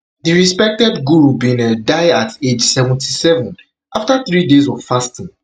di respected guru bin um die at age seventy-seven afta three days of fasting